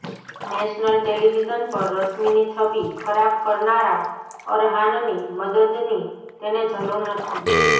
national television પર રશ્મિની છબિ ખરાબ કરનારા અરહાનની મદદની તેને જરૂર નથી